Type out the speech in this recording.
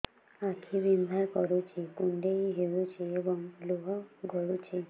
ଆଖି ବିନ୍ଧା କରୁଛି କୁଣ୍ଡେଇ ହେଉଛି ଏବଂ ଲୁହ ଗଳୁଛି